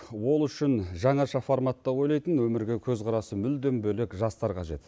ол үшін жаңаша форматта ойлайтын өмірге көзқарасы мүлдем бөлек жастар қажет